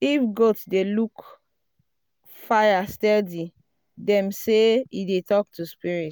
if goat dey um look fire steady dem um say e dey talk to spirits.